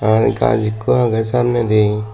akkan gas ekku aagay samnay die.